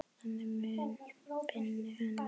Þannig mun minning hennar lifa.